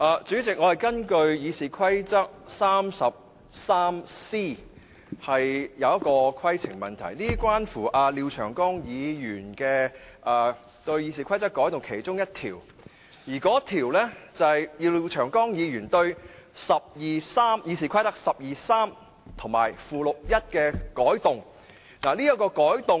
主席，我根據《議事規則》第 303c 條提出規程問題，這是廖長江議員擬修訂《議事規則》的其中一項，是要修訂《議事規則》第123條及附表1。